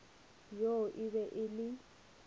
yoo e be e le